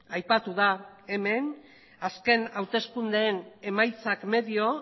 aipatu da hemen azken hauteskundeen emaitzak medio